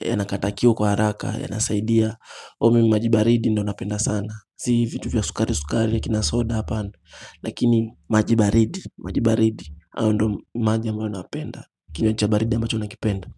yanakata kiu kwa haraka yanasaidia. O mimi maji baridi ndo napenda sana. Si vitu vya sukari sukari akina soda hapana. Lakini maji baridi. Maji baridi. NAyo ndo maji ambayo napenda. Kinywa cha baridi ambacho nakipenda.